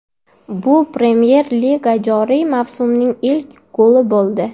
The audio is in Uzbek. Bu Premyer Liga joriy mavsumining ilk goli bo‘ldi.